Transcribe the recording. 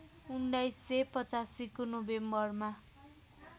१९८५ को नोभेम्बरमा